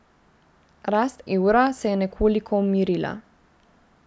Rast evra se je nekoliko umirila.